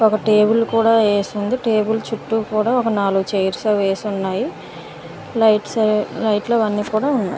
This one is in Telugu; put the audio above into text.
ఒక టేబుల్ కూడా ఏసుంది . టేబుల్ చుట్టూ కూడా ఒక నాలుగు చైర్స్ వేసి ఉన్నాయి లైట్స్ ఏ లైట్ లవన్నీ కూడా ఉన్నాయ్.